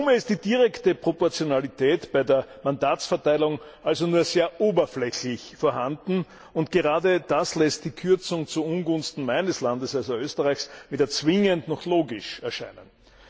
In Summe ist die direkte Proportionalität bei der Mandatsverteilung also nur sehr oberflächlich vorhanden, und gerade das lässt die Kürzung zu Ungunsten meines Landes also Österreichs weder zwingend noch logisch erscheinen.